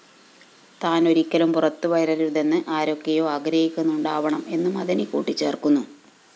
താന്‍ ഒരിക്കലും പുറത്തുവരരുതെന്നു ആരൊക്കെയോ ആഗ്രഹിക്കുന്നുണ്ടാവണം എന്നും മദനി കൂട്ടിച്ചേര്‍ക്കുന്നു